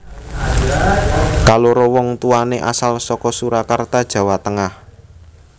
Kaloro wong tuwané asal saka Surakarta Jawa Tengah